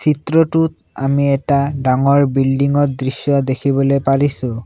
চিত্ৰতোত আমি এটা ডাঙৰ বিল্ডিং ৰ দৃশ্য দেখিবলৈ পাৰিছোঁ।